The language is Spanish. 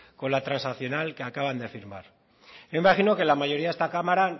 con la transaccional que acaban de firmar yo imagino que la mayoría de esta cámara